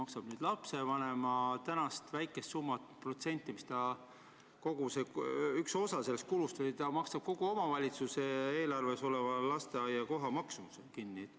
Kas ta maksab ka lapsevanema eest praeguse väikese summa, protsendi, mis on osa sellest kulust, või ta maksab vaid omavalitsuse eelarves oleva lasteaiakohtade maksumuse kinni?